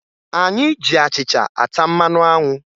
Anyị ji achịcha ata mmanụ anwụ